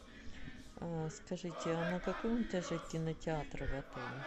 скажите а на каком этаже кинотеатр в отеле